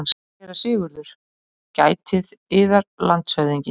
SÉRA SIGURÐUR: Gætið yðar, landshöfðingi.